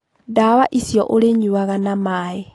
Ndawa icio ũlĩnyuaga na maĩ.